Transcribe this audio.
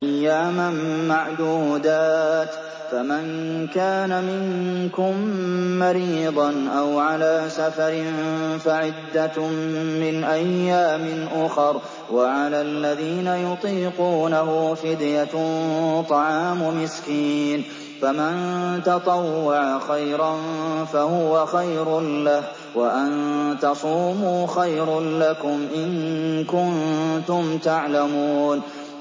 أَيَّامًا مَّعْدُودَاتٍ ۚ فَمَن كَانَ مِنكُم مَّرِيضًا أَوْ عَلَىٰ سَفَرٍ فَعِدَّةٌ مِّنْ أَيَّامٍ أُخَرَ ۚ وَعَلَى الَّذِينَ يُطِيقُونَهُ فِدْيَةٌ طَعَامُ مِسْكِينٍ ۖ فَمَن تَطَوَّعَ خَيْرًا فَهُوَ خَيْرٌ لَّهُ ۚ وَأَن تَصُومُوا خَيْرٌ لَّكُمْ ۖ إِن كُنتُمْ تَعْلَمُونَ